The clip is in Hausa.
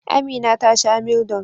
Amina ta sha Mildol.